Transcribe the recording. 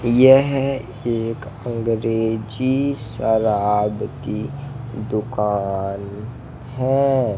यह एक अंग्रेजी शराब की दुकान है।